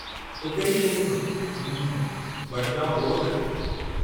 टुके जी मुहिम, हम्म, वडगांव ॻोठु।